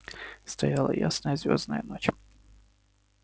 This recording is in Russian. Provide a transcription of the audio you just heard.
стояла ясная звёздная ночь